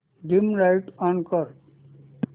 dim light on कर